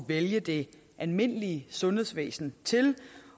vælge det almindelige sundhedsvæsen til